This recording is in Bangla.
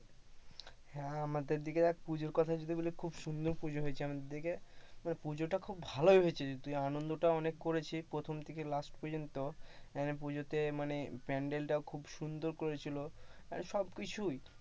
হ্যাঁ আমাদের দিকে আর পুজোর কথা যদি বলিস খুব সুন্দর পূজা হয়েছে আমাদের দিকে মানে পুজোটা খুব ভালো ভালো হয়েছে আনন্দটা অনেক করেছি প্রথম থেকে last পর্যন্ত পুজোতে মানে প্যান্ডেল টা খুব সুন্দর করেছিল মানে সব কিছুই,